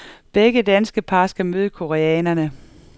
Begge danske par skal møde koreanere.